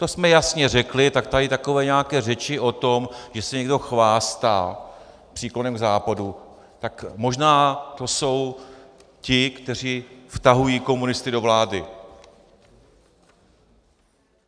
To jsme jasně řekli, tak tady takové nějaké řeči o tom, že se někdo chvástá příklonem k Západu, tak možná to jsou ti, kteří vtahují komunisty do vlády.